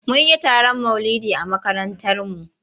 Mun yi taron maulidi a makarantarmu.